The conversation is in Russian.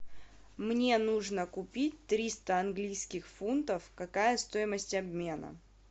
мне нужно купить триста английских фунтов какая стоимость обмена